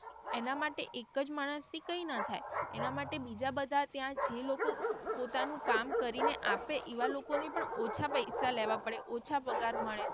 એના માટે એક જ માણસ થી કઈ ના થાય એના માટે બીજા બધા ત્યાં જે લોકો પોતાનું કામ કરીને આપે એવા લોકો ને પણ ઓછા પૈસા લેવા પડે ઓછા પગાર મળે.